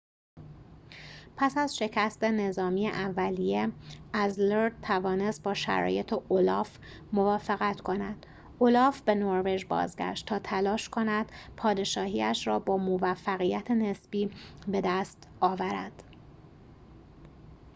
پس از شکست نظامی اولیه اذلرد توانست با شرایط اولاف موافقت کند اولاف به نروژ بازگشت تا تلاش کند پادشاهی‌اش را با موفقیت نسبی بدست آورد